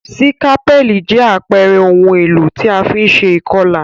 Sikapẹli jẹ àpere oun èlò ti a fi n se ìkolà